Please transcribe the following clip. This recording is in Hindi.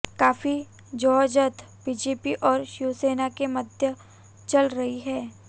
काफी जद्दोजहद बीजेपी और शिवसेना के मध्य चल रही है